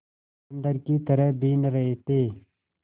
बंदर की तरह बीन रहे थे